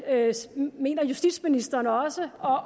mener justitsministeren også